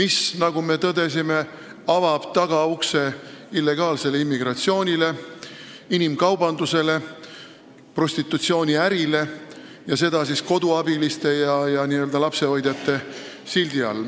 See, nagu me tõdesime, avab tagaukse illegaalsele immigratsioonile, inimkaubandusele, prostitutsiooniärile ning seda koduabiliste ja lapsehoidjate sildi all.